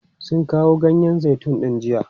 Sun kawo ganyen zaitun din jiya?